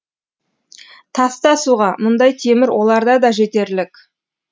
таста суға мұндай темір оларда да жетерлік